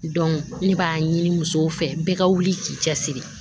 ne b'a ɲini musow fɛ bɛɛ ka wuli k'i cɛ siri